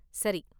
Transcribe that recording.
சரி.